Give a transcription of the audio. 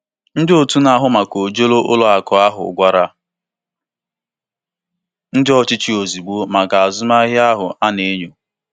Ụlọ um ọrụ ego gwara ndị ọchịchị um ozugbo maka ọrụ azụmahịa a na-enyo achọpụtara.